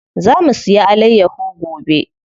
Za mu siya alayyaho gobe.